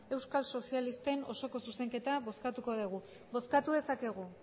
euskal sozialisten osoko zuzenketa bozkatuko dugu bozkatu dezakegu